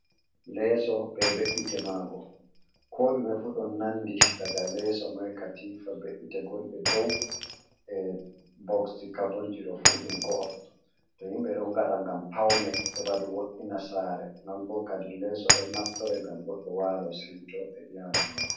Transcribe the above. Leeso be be'ite mago. Ko ɗume fu ɗon nanɗi. Ɗaga leso mai, katifa be'ite gonɗe ɗow. E boksji kabonji ɗo fu ɗum go'o. To yimɓe ɗon gaɗa ngam paune, heba ɗum wo’ina sare. Non bo kaɗi leeso ɗon naftore ngam goɗɗo walo sewto e iyalu mako.